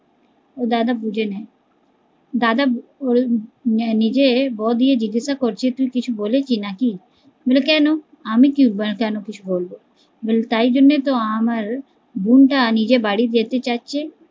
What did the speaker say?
ওর দাদা বুঝে নেয়, দাদা ওর নিজের বৌ দিয়ে জিজ্ঞেস করছে তুই কিছু বলেছি নাকি, বলে কেন আমি কী কেন কিছু বলবো, তাই জন্যই তো আমার বোন টা নিজের বাড়ি যেতে চাচ্ছে